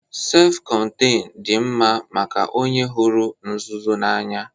Sef kọnteñ dị mma maka onye hụrụ nzuzo n'anya